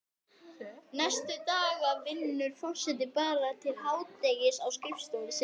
Næstu daga vinnur forsetinn bara til hádegis á skrifstofunni sinni.